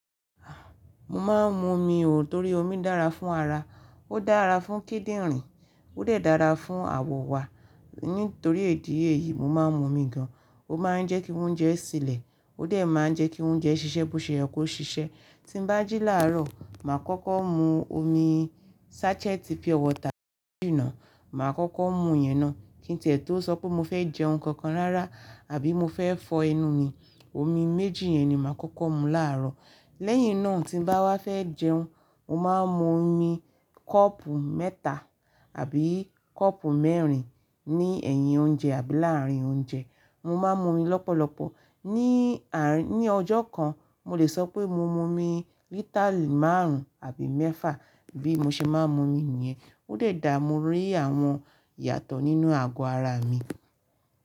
Mo máa ń mu omi òó torí omi dára fún ara. Ó dára fún kíndìnrín, ó dà dára fún àwọ̀ wa. Nítorí idi èyí mo máa ń mu omi gan. Ó máa ń jẹ́ kí oúnjẹ sílẹ̀, ó dà máa ń jẹ́ kí oúnjẹ ṣiṣẹ́ bó ṣe ẹ kó ṣiṣẹ́. Tí n bá jí láàárọ̀, màá kọ́kọ́ mu omi sachet Pure water méjì ná. Màá kọ́kọ́ mu ìyẹn ná. Kí n ti ẹ́ tó sọ pé mo fẹ́ jẹun kankan rara àbí mo fẹ́ fọ ẹnu mi. Omi méjì yẹn ni màá kọ́kọ́ mu láàárọ̀. Lẹ́yìn náà tí n bá wá fẹ́ jẹun, mo máa ń mu omi kọ́ọ̀pù mẹ́ta àbí kọ́ọ̀pù mẹ́rin ní ẹ̀yìn oúnjẹ àbí láàárín oúnjẹ. Mo má ń mu omi lọ́pọ̀lọpọ̀. Ní àárín- ní ọjọ́ kan, mo lè sọ pé mo mu omi lítálì márùn-ún àbí mẹ́fà bí mo ṣe máa ń mu omi nìyẹn. Ó de dára mo rí àwọn ìyàtọ̀ nínú ago ara mi.